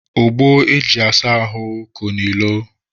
Ogbo e ji asa ahụ ko n'ilo.